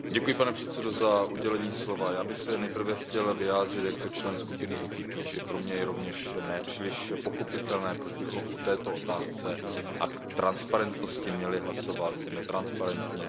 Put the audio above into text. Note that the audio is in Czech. Pane předsedající, já bych se nejprve chtěl vyjádřit jako člen skupiny PPE, že pro mě je rovněž ne příliš pochopitelné, proč bychom o této otázce a o transparentnosti měli hlasovat netransparentně.